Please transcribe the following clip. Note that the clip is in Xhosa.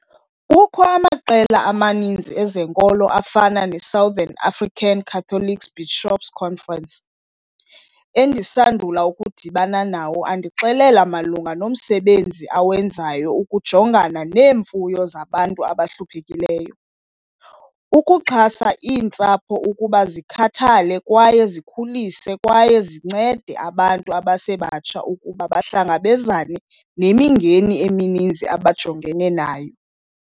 Kukho amaqela amaninzi ezenkolo afana neSouthern African Catholic Bishop's Conference, endisandula ukudibana nawo andixelele malunga nomsebenzi awenzayo ukujongana neemfuno zabantu abahluphekileyo, ukuxhasa iintsapho ukuba zikhathale kwaye zikhulise kwaye zincede abantu abasebatsha ukuba bahlangabezane nemingeni emininzi abajongene nayo.